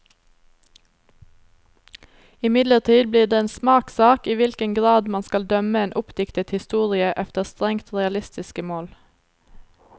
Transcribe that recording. Imidlertid blir det en smakssak i hvilken grad man skal dømme en oppdiktet historie efter strengt realistiske mål.